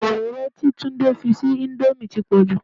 Òróró tí Tunde fi sí íńdómì ti pọ̀ jù.